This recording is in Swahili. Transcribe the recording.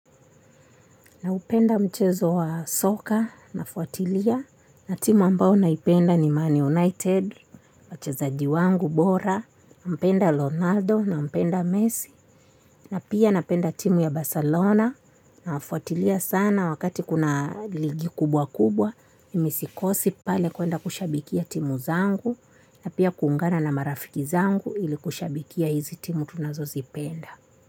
Na upenda mchezo wa soka nafuatilia na timu ambao naipenda ni Man United wachezaji wangu. Bora nampenda Ronaldo nampenda Messi na pia napenda timu ya Barcelona nawafuatilia sana wakati kuna ligi kubwa kubwa mi mi sikosi pale kwenda kushabikia timu zangu na pia kuungana na marafiki zangu ili kushabikia hizi timu tunazo zipenda.